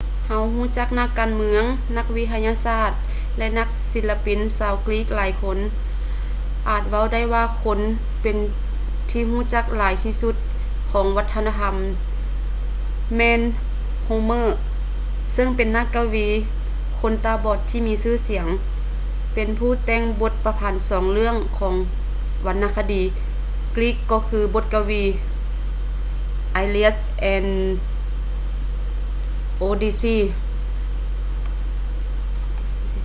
ເຮົາຮູ້ຈັກນັກການເມືອງ ນັກວິທະຍາສາດ ແລະ ນັກສິລະປິນຊາວກຣີກຫຼາຍຄົນ ອາດເວົ້າໄດ້ວ່າຄົນທີ່ເປັນທີ່ຮູ້ຈັກຫຼາຍທີ່ສຸດຂອງວັດທະນະທໍານີ້ແມ່ນ homer ເຊິ່ງເປັນນັກກະວີຄົນຕາບອດທີ່ມີຊື່ສຽງ ເປັນຜູ້ທີ່ແຕ່ງບົດປະພັນສອງເລື່ອງຂອງວັນນະຄະດີກຣີກກໍຄື ບົດກະວີ iliad ແລະ odyssey